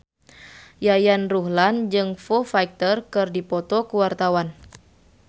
Yayan Ruhlan jeung Foo Fighter keur dipoto ku wartawan